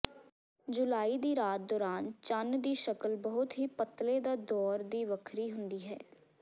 ਜੁਲਾਈ ਦੀ ਰਾਤ ਦੌਰਾਨ ਚੰਨ ਦੀ ਸ਼ਕਲ ਬਹੁਤ ਹੀ ਪਤਲੇ ਦਾ ਦੌਰ ਦੀ ਵੱਖਰੀ ਹੁੰਦੀ